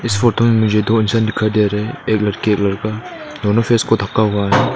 इस फोटो में मुझे दो इंसान दिखाई दे रहा हैं एक लड़की एक लड़का दोनों फेस को ढका हुआ है।